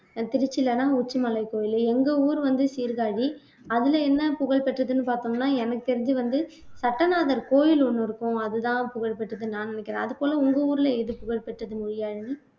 அஹ் திருச்சியிலன்னா உச்சி மலைக்கோயில் எங்க ஊர் வந்து சீர்காழி அதுல என்ன புகழ்பெற்றதுன்னு பார்த்தோம்னா எனக்கு தெரிஞ்சு வந்து சட்டைநாதர் கோயில் ஒண்ணு இருக்கும் அதுதான் புகழ்பெற்றதுன்னு நான் நினைக்கிறேன் அதுபோல உங்க ஊர்ல எது புகழ் பெற்றது மொழியாழினி